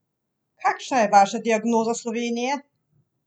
Kakšna je vaša diagnoza Slovenije?